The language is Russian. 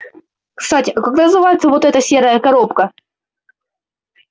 кстати а как называется вот эта серая коробка